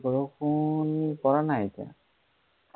বৰষুণ পৰা নাই এতিয়া।